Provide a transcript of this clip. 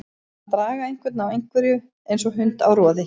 Að draga einhvern á einhverju eins og hund á roði